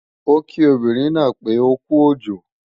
Ó kí obìnrin náà pé ókú òjò